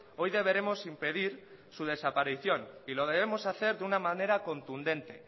hoy deberemos impedir su desaparición y lo debemos hacer de una manera contundente